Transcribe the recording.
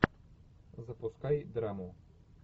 запускай драму